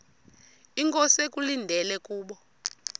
inkosi ekulindele kubo